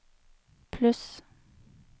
pluss